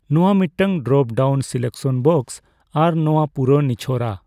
ᱱᱚᱣᱟ ᱢᱤᱫᱴᱟᱝ dropdown selection box ᱟᱨ ᱱᱚᱣᱟ ᱯᱩᱨᱟᱹ ᱱᱤᱪᱷᱚᱨᱟ ᱾